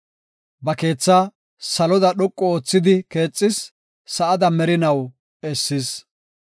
Ba keethaa saloda dhoqu oothidi keexis; sa7ada merinaw essis.